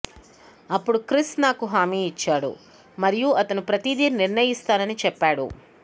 అప్పుడు క్రిస్ నాకు హామీ ఇచ్చాడు మరియు అతను ప్రతిదీ నిర్ణయిస్తానని చెప్పాడు